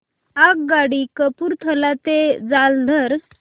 आगगाडी कपूरथला ते जालंधर